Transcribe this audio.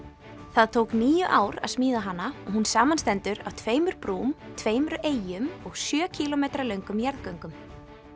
það tók níu ár að smíða hana og hún samanstendur af tveimur brúm tveimur eyjum og sjö kílómetra löngum jarðgöngum